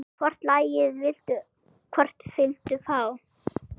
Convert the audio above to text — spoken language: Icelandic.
Hvort lagið, hvort viltu fá?